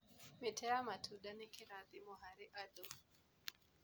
Mĩtĩ ya matunda nĩ kĩrathimo harĩ andũ.